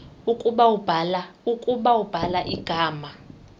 ukuba ubhala igama